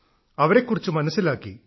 അവരെക്കുറിച്ച് മനസ്സിലാക്കി